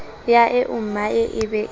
ya eommae e be e